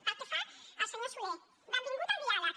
pel que fa al senyor solé benvingut al diàleg